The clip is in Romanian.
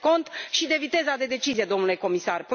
Țineți cont și de viteza de decizie, domnule comisar.